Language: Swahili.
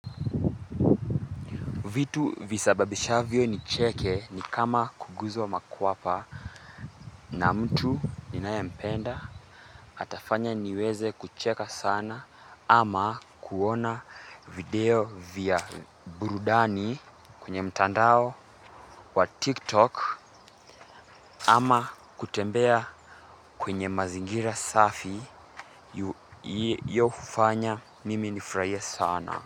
Vitu visababisha vyo nicheke ni kama kuguzwa makwapa na mtu ninae mpenda atafanya niweze kucheka sana ama kuona video vya burudani kwenye mtandao wa tiktok ama kutembea kwenye mazingira safi yofanya mimi nafurahie sana.